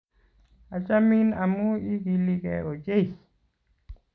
Achamin amu igiligei ochei